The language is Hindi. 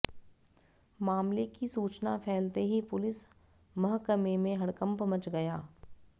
मामले की सूचना फैलते ही पुलिस महकमे में हड़कंप मच गया